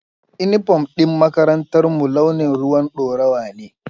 Inifom ɗin makarantarmu launin ruwan ɗorawa ne